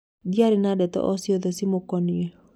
Ndiarĩ na ndeto o ciothe cimũkonie.